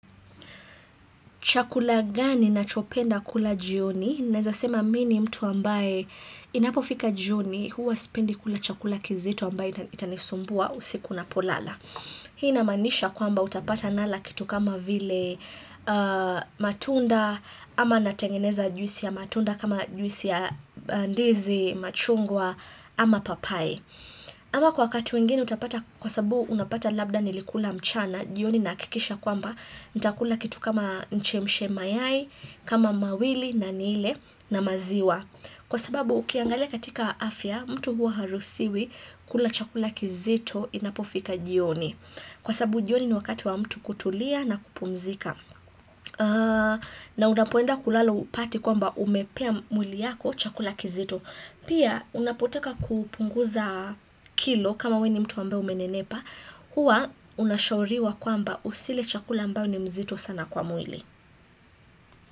Chakula gani nachopenda kula jioni? Naeza sema mi ni mtu ambaye inapofika jioni huwa sipendi kula chakula kizito ambaye itanisumbua usiku napolala. Hii namanisha kwamba utapata nala kitu kama vile aaa matunda ama natengeneza juisi ya matunda kama juisi ya ndizi, machungwa ama papai. Ama kwa wakati mwingine utapata kwa sababu unapata labda nilikula mchana jioni nahakikisha kwamba nitakula kitu kama nichemshe mayai kama mawili na nile na maziwa Kwa sabu ukiangalia katika afya mtu huwa haruhusiwi kula chakula kizito inapofika jioni Kwasabu jioni ni wakati wa mtu kutulia na kupumzika. Na unapoenda kulala upate kwamba umepea mwili yako chakula kizito Pia unapotaka kupunguza kilo kama wewe ni mtu ambaye umenenepa huwa unashauriwa kwamba usile chakula mbao ni mzito sana kwa mwili.